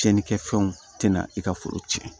Cɛnnikɛ fɛnw tɛna i ka foro tiɲɛ